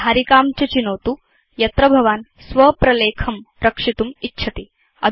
धारिकां च चिनोतु यत्र भवान् स्व प्रलेखं रक्षितुम् इच्छति